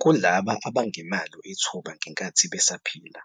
Kulabo abangenalo ithuba ngenkathi besaphila,